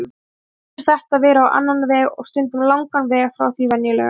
En svo getur þetta verið á annan veg- og stundum langan veg frá því venjulega.